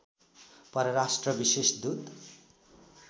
परराष्ट्र विशेष दूत